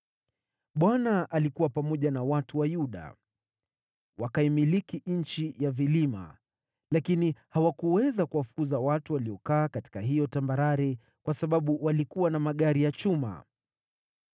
Bwana alikuwa pamoja na watu wa Yuda. Wakaimiliki nchi ya vilima, lakini hawakuweza kuwafukuza watu waliokaa katika hiyo tambarare, kwa sababu walikuwa na magari ya chuma.